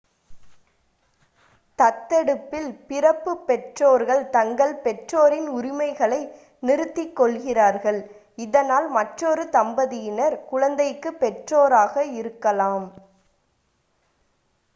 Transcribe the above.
தத்தெடுப்பில் பிறப்பு பெற்றோர்கள் தங்கள் பெற்றோரின் உரிமைகளை நிறுத்திக் கொள்கிறார்கள் இதனால் மற்றொரு தம்பதியினர் குழந்தைக்கு பெற்றோராக இருக்கலாம்